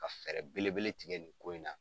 Ka fɛɛrɛ bele bele tigɛ nin ko in na.